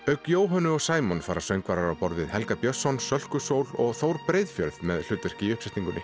auk Jóhönnu og fara söngvarar á borð við Helga Björnsson Sölku Sól og Þór Breiðfjörð með hlutverk í uppsetningunni